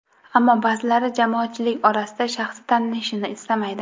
Ammo ba’zilari jamoatchilik orasida shaxsi tanilishini istamaydi.